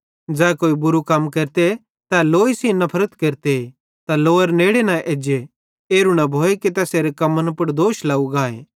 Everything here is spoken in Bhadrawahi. ज़ै कोई बुरू कम केरते तै लोई सेइं नफरत केरते त लोआरे नेड़े न एज्जे एरू न भोए कि तैसेरे कम्मन पुड़ दोष लाव गाए